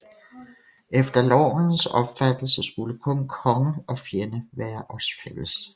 Efter Lornsens opfattelse skulle kun konge og fjende være os fælles